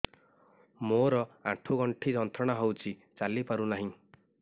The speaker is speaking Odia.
ମୋରୋ ଆଣ୍ଠୁଗଣ୍ଠି ଯନ୍ତ୍ରଣା ହଉଚି ଚାଲିପାରୁନାହିଁ